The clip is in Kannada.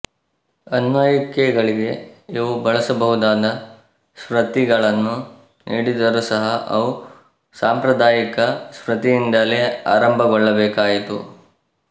ಆನ್ವಯಿಕೆಗಳಿಗೆ ಇವು ಬಳಸಬಹುದಾದ ಸ್ಮೃತಿಗಳನ್ನು ನೀಡಿದರೂ ಸಹ ಅವು ಸಾಂಪ್ರದಾಯಿಕ ಸ್ಮೃತಿಯಿಂದಲೇ ಆರಂಭಗೊಳ್ಳಬೇಕಾಯಿತು